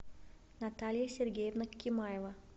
наталья сергеевна кемаева